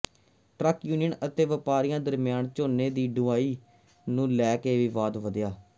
truck union ਅਤੇ ਵਪਾਰੀਆਂ ਦਰਮਿਆਨ ਝੋਨੇ ਦੀ ਢੁਆਈ ਨੂੰ ਲੈ ਕੇ ਵਿਵਾਦ ਵਧਿਆ